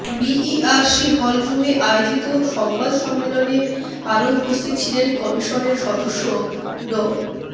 BERC hall রুমে আয়োজিত সংবাদ সম্মেলনে আরো উপস্থিত ছিলেন কমিশনের সদস্য ড